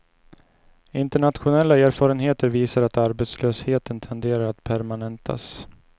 Internationella erfarenheter visar att arbetslösheten tenderar att permanentas.